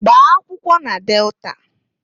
Gbaa akwụkwọ na Delta!